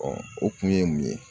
o kun ye mun ye.